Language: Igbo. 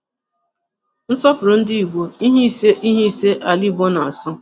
Nsọpụrụ ndị Ìgbò: Ihe ise Ihe ise Ala Ìgbò na-asọ.